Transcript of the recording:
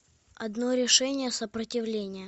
одно решение сопротивление